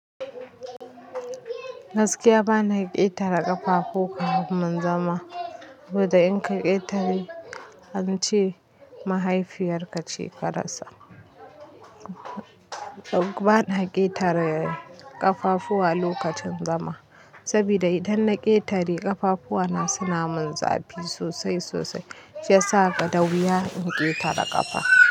Gaskiya bana ƙetare ƙafafu ka mun zama, gobe in ka ƙetare an ce mahaifiyar ka ce karasa. Bana ƙetare ƙafafuwa lokacin zama, saboda idan na ƙetare ƙafafu na suna mun zafi sosai sosai, shi ya sa da wuya in ƙetare ƙafa.